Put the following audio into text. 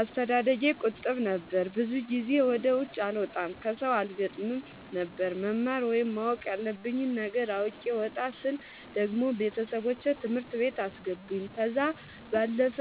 አስተዳደጌ ቁጥብ ነበር። ብዙ ጊዜ ወደ ውጪ አልወጣም ከሠው አልገጥምም ነበር። መማር ወይም ማወቅ ያለብኝ ነገር አውቄ ወጣ ስል ደግሞ ቤተሠቦቼ ትምህርት ቤት አስገቡኝ። ከዛ ባለፈ